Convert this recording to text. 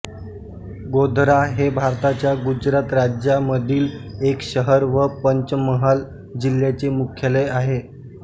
गोधरा हे भारताच्या गुजरात राज्यामधील एक शहर व पंचमहाल जिल्ह्याचे मुख्यालय आहे